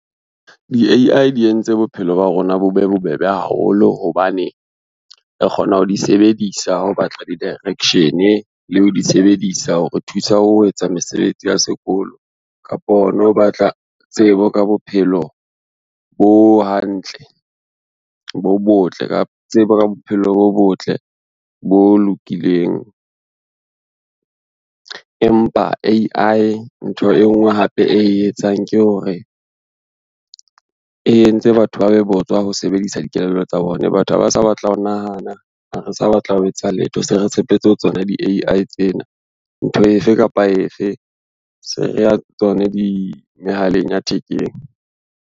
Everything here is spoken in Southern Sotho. Di-A_I di entse bophelo ba rona bo be bobebe haholo hobane, re kgona ho di sebedisa ha o batla di-direction le ho di sebedisa hore thusa ho etsa mesebetsi ya sekolo kapo hona ho batla tsebo ka bophelo bo hantle, tsebo ka bophelo bo botle bo lokileng. Empa A_I ntho e ngwe hape e etsang ke hore e entse batho ba be botswa ho sebedisa dikelello tsa bona. Batho ha ba sa batla ho nahana ha re sa batla ho etsa letho, se re tshepetse ho tsona di-A_I tsena. Ntho efe kapa efe se re ya mehaleng ya thekeng.